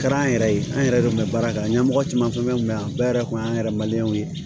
Kɛra an yɛrɛ ye an yɛrɛ de kun bɛ baara kɛ ɲɛmɔgɔ caman fɛn fɛn tun bɛ yan bɛɛ yɛrɛ kun y'an yɛrɛ